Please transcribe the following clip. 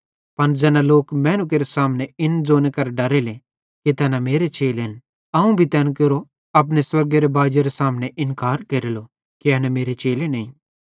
पन ज़ैना लोक मैनू केरे सामने इन ज़ोने करां डरेले कि तैना मेरे चेलेन त अवं भी तैन केरो अपने स्वर्गेरो बाजेरे सामने इन्कार केरेलो कि एना मेरे चेले नईं